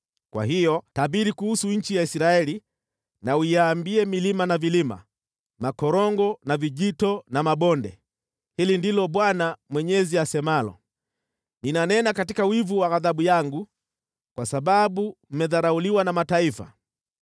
Kwa hiyo tabiri kuhusu nchi ya Israeli na uiambie milima na vilima, makorongo na vijito na mabonde: ‘Hili ndilo Bwana Mwenyezi asemalo: Ninanena katika wivu wa ghadhabu yangu kwa sababu mmedharauliwa na mataifa.